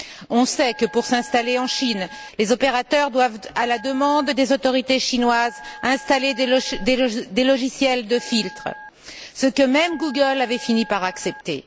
On sait que, pour s'installer en Chine, les opérateurs doivent, à la demande des autorités chinoises, installer des logiciels de filtre, ce que même Google avait fini par accepter.